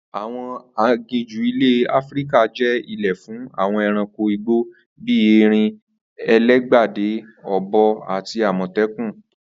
Àwo̩n aginjù ilè̩ Áfíríkà jé̩ ilé fún àwo̩n e̩ranko igbo bí erin, elégbèdè, ò̩bo̩ àti àmò̩té̩kùn